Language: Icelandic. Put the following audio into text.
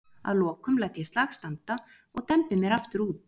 Að lokum læt ég slag standa og dembi mér aftur út.